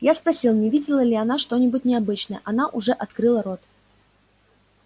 я спросил не видела ли она что-нибудь необычное она уже открыла рот